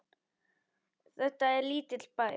Þetta er lítill bær.